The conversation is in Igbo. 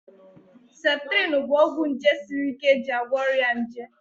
septrin bụ ọgwụ nje siri ike eji agwọ ọrịa nje